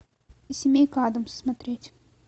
семейка адамс смотреть